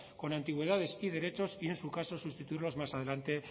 con antigüedades y derechos y en su caso sustituirlos más adelante